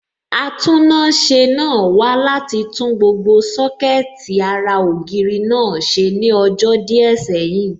Atúnáṣe náà wá láti tún gbogbo Sọ́kẹ̀tì ara ògiri náà ṣe ní ọjọ́ díẹ̀ sẹ́yìn